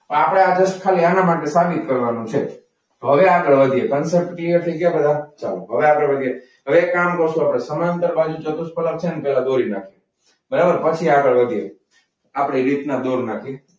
આપણે આજે ખાલી આના માટે સાબિત કરવાનું છે. તો હવે આપણે આગળ વધીએ તમ ક્લિયર થઈ ગયા બધા? ચાલો હવે આગળ વધીએ. હવે એક કામ કરશો આપણે સમાંતર બાજુ ચતુષ્ફલક છે ને પહેલા દોરી નાખીએ. પછી આગળ વધીએ આપણે રીતના દોરી નાખીએ.